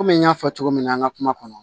Komi n y'a fɔ cogo min na an ka kuma kɔnɔ